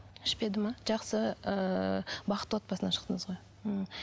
ішпеді ме жақсы ыыы бақытты отбасынан шықтыңыз ғой ммм